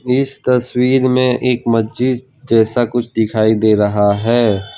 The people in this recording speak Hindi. इस तस्वीर में एक मस्जिद जैसा कुछ दिखाई दे रहा है।